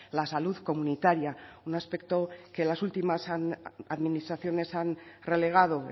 la salud comunitaria un aspecto que las últimas administraciones han relegado